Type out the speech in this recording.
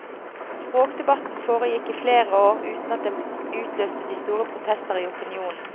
Språkdebatten foregikk i flere år uten at den utløste de store protester i opinionen.